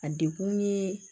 A dekun ye